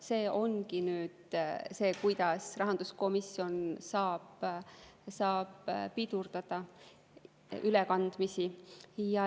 See ongi nüüd see, kuidas rahanduskomisjon saab pidurdada ülekandmisi.